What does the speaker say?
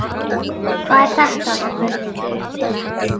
Hvað er þetta spurði ég.